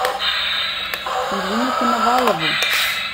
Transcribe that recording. ирину коновалову